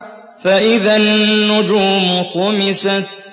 فَإِذَا النُّجُومُ طُمِسَتْ